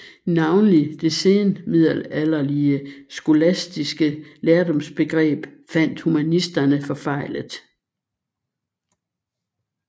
Navnlig det senmiddelalderlige skolastiske lærdomsbegreb fandt humanisterne forfejlet